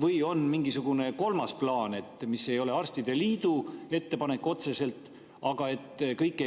Või on mingisugune kolmas plaan, mis ei ole otseselt arstide liidu ettepanek, aga et kõik